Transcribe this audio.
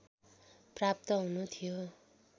प्राप्त हुनु थियो